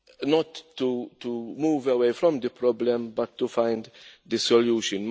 is not to move away from the problem but to find a solution.